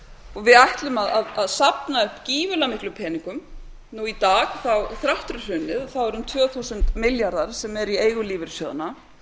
og við ætlum að safna upp gífurlega miklum peningum nú í dag þrátt fyrir hrunið eru um tvö þúsund milljarðar sem eru í eigu lífeyrissjóðanna